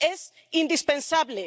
Es indispensable.